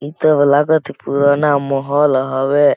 एकदम लागत हे पुरा ना मौहोल हवे।